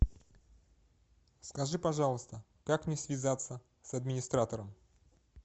скажи пожалуйста как мне связаться с администратором